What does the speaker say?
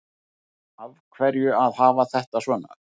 Af hverju að hafa þetta svona